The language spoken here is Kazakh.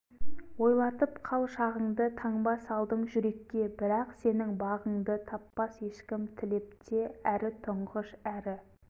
ойлатып қал шағыңды таңба салдың жүрекке бірақ сенің бағыңды таппас ешкім тілеп те әрі тұңғыш әрі